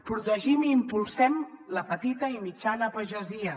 protegim i impulsem la petita i mitjana pagesia